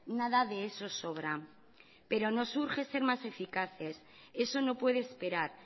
nada de eso sobra pero nos urge ser más eficaces eso no puede esperar